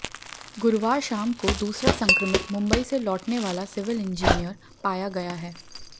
गुरुवार शाम को दूसरा संक्रमित मुंबई से लौटने वाला सिविल इंजीनियर पाया गया है